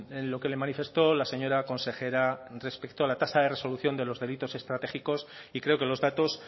en lo que le manifestó la señora consejera respecto a la tasa de resolución de los delitos estratégicos y creo que los datos